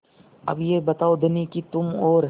अब यह बताओ धनी कि तुम और